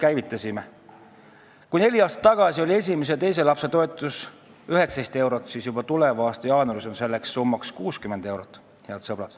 Head sõbrad, neli aastat tagasi oli esimese ja teise lapse toetus 19 eurot kuus, juba alates tuleva aasta jaanuarist on see summa 60 eurot.